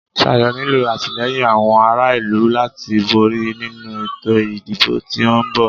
Sayo nílo àtìlẹ́yìn àwọn ará ìlú láti borí nínu ètò ìdìbò tí o ń bọ̀.